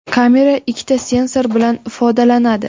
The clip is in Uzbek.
Kamera ikkita sensor bilan ifodalanadi.